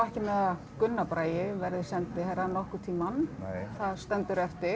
Gunnar Bragi verði sendiherra nokkurn tímann það stendur eftir